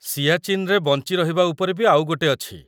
ସିଆଚିନ୍‌ରେ ବଞ୍ଚି ରହିବା ଉପରେ ବି ଆଉ ଗୋଟେ ଅଛି।